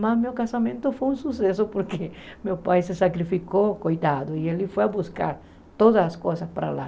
Mas meu casamento foi um sucesso porque meu pai se sacrificou, cuidado, e ele foi buscar todas as coisas para lá.